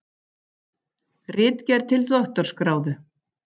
Ritgerð til doktorsgráðu.